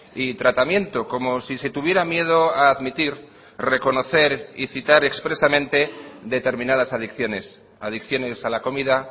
y tratamiento como si se tuviera miedo a admitir reconocer y citar expresamente determinadas adicciones adicciones a la comida